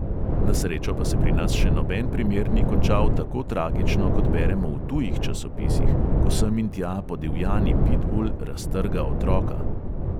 Na srečo pa se pri nas še noben primer ni končal tako tragično, kot beremo v tujih časopisih, ko sem in tja podivjani pitbul raztrga otroka.